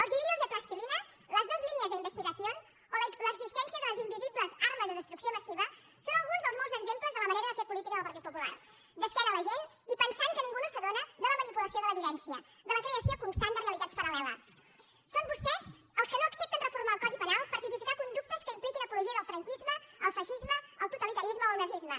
els hilillos de plastilina las dos líneas de investigación o l’existència de les invisibles armes de destrucció massiva són alguns dels molts exemples de la manera de fer política del partit popular d’esquena a la gent i pensant que ningú no s’adona de la manipulació de l’evidència de la creació constant de realitats paralsón vostès els que no accepten reformar el codi penal per tipificar conductes que impliquin apologia del franquisme el feixisme el totalitarisme o el nazisme